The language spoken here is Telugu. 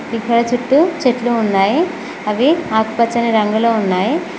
చుట్టూ చెట్లు ఉన్నాయి అవి ఆకుపచ్చని రంగులో ఉన్నాయి.